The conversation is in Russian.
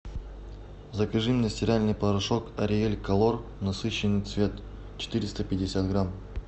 закажи мне стиральный порошок ариель колор насыщенный цвет четыреста пятьдесят грамм